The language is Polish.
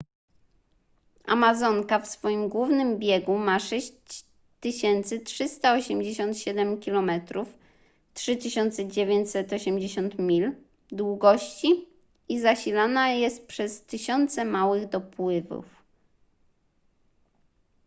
amazonka w swoim głównym biegu ma 6387 km 3980 mil długości i zasilana jest przez tysiące małych dopływów